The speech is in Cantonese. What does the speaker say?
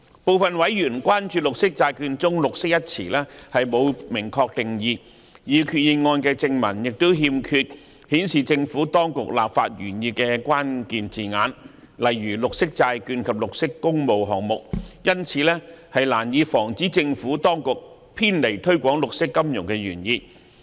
部分委員關注綠色債券中"綠色"一詞沒有明確定義，擬議決議案的正文亦欠缺顯示政府當局立法原意的關鍵字眼，例如"綠色債券"及"綠色工務項目"，因此難以防止政府當局偏離推廣綠色金融的原意。